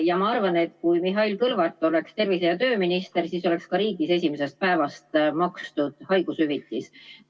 Ja ma arvan, et kui Mihhail Kõlvart oleks tervise- ja tööminister, siis oleks kogu riigis esimesest päevast haigushüvitist makstud.